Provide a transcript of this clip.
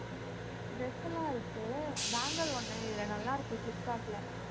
dress எல்லாம் இருக்கு bangle ஒண்ணு, இதுல நல்லா இருக்கு ஃபிளிப்கார்ட்ல